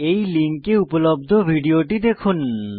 এই লিঙ্কে উপলব্ধ ভিডিওটি দেখুন